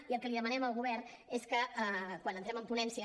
i el que li demanem al govern és que quan entrem en ponència